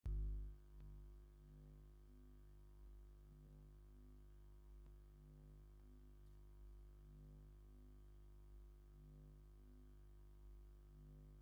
ናይ ኤለክትሪክ ሓይሊ መቆፃፀሪ ኣብ ጠረጴዛ ኣሎ ብተወሳኪ ባኮታት እውን ኣለዉ ። ናይዚ ኤለክትሪክ ምቆጻጸሪ ኣቅሓ ዋጋ ክንደይ እዩ ?